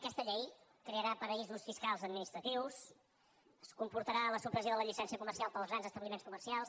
aquesta llei crearà paradisos fiscals administratius comportarà la supressió de la llicència comercial per als grans establiments comercials